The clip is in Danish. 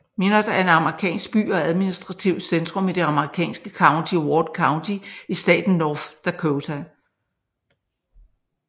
Minot er en amerikansk by og administrativt centrum i det amerikanske county Ward County i staten North Dakota